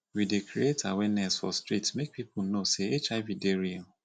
we dey create awareness for street make pipo know sey hiv dey real